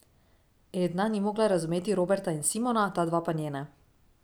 Edna ni mogla razumeti Roberta in Simona, ta dva pa nje ne.